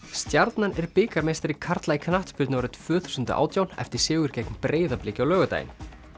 stjarnan er bikarmeistari karla í knattspyrnu árið tvö þúsund og átján eftir sigur gegn Breiðabliki á laugardaginn